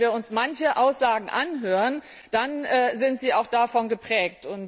Und wenn wir uns manche Aussagen anhören, dann sind sie auch davon geprägt.